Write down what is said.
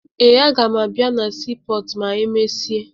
Ee, aga m abịa na siipọọtụ ma emesịa